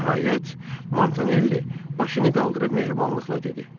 Nəhayət, Mantonelli başını qaldırıb mehribanlıqla dedi: